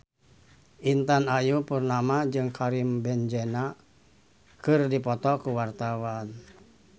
Intan Ayu Purnama jeung Karim Benzema keur dipoto ku wartawan